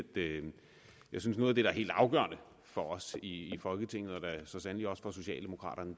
noget af det der er helt afgørende for os i folketinget og så sandelig også for socialdemokraterne